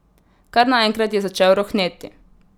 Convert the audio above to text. Kar naenkrat je začel rohneti.